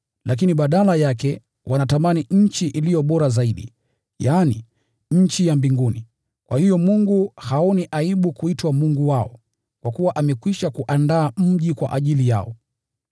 Lakini badala yake walitamani nchi iliyo bora zaidi, yaani nchi ya mbinguni. Kwa hiyo Mungu haoni aibu kuitwa Mungu wao, kwa kuwa amekwisha kuandaa mji kwa ajili yao.